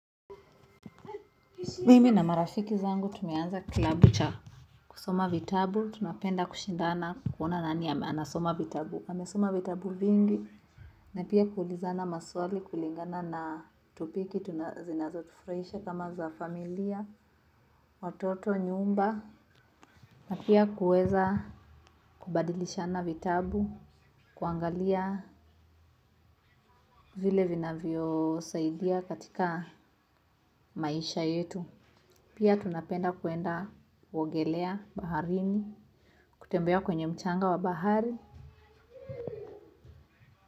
Mimi na marafiki zangu tumeanza klabu cha kusoma vitabu. Tunapenda kushindana kuona nani anasoma vitabu. Amesoma vitabu vingi. Na pia kuulizana maswali kulingana na topiki. Zinoza tufraisha kama za familia watoto nyumba. Na pia kuweza kubadilishana vitabu. Kuangalia vile vinavyo saidia katika maisha yetu. Pia tunapenda kuenda kuogelea baharini, kutembea kwenye mchanga wa bahari.